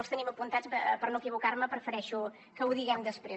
els tenim apuntats i per no equivocar me prefereixo que ho diguem després